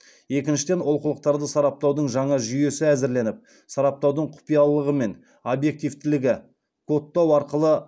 екіншіден оқулықтарды сараптаудың жаңа жүйесі әзірленіп сараптаудың құпиялылығы мен объективтілігі кодтау арқылы арттыру бойынша жұмыстар жүргізілген